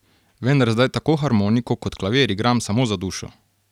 Vendar zdaj tako harmoniko kot klavir igram samo za dušo.